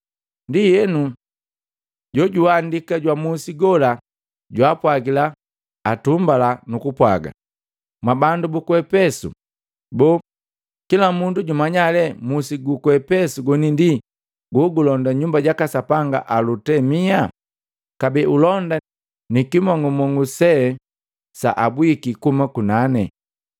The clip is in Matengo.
Ndienu jojuhandika jwa musi gola jwaapwagila atumbala nukupwaga, “Mwabandu buku Epesu, boo, kila mundu jumanya lee musi guku Efesu goni ndi gogulonda nyumba jaka sapanga Alutemia kabee ulonda nikimong'umong'u se saabwiki kuhuma kunane.